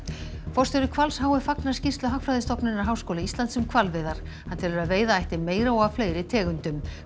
forstjóri Hvals h f fagnar skýrslu Hagfræðistofnunar Háskóla Íslands um hvalveiðar hann telur að veiða ætti meira og af fleiri tegundum